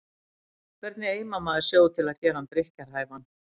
Hvernig eimar maður sjó til að gera hann drykkjarhæfan?